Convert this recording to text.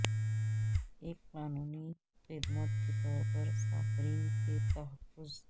ایک قانونی خدمت کے طور پر صارفین کے تحفظ